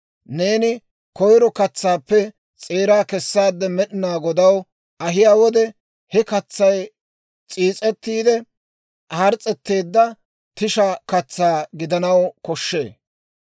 Neeni koyiro katsaappe s'eeraa kessaade Med'inaa Godaw ahiyaa wode, he katsay s'iis's'etiide hars's'eteedda tisha katsaa gidanaw koshshee.